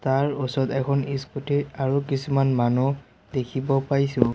ইয়াৰ ওচৰত ইস্কুটি আৰু কিছুমান মানুহ দেখিব পাইছোঁ।